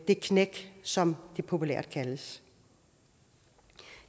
det knæk som det populært kaldes